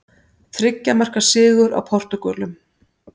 Þriggja marka sigur á Portúgölum